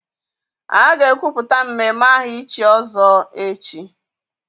A ga-ekwupụta mmemme aha ichi ọzọ echi